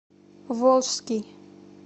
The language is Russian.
волжский